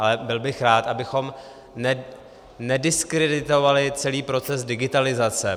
Ale byl bych rád, abychom nediskreditovali celý proces digitalizace.